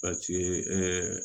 Paseke